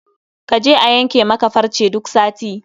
Kaje a yanke maka farce duk sati